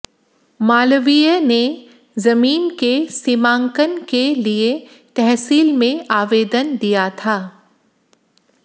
मालवीय ने जमीन के सीमांकन के लिए तहसील में आवेदन दिया था